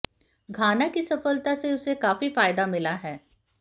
घाना की सफलता से उसे काफी फायदा मिला है